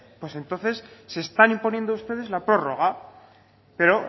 pues entonces se están imponiendo ustedes la prórroga pero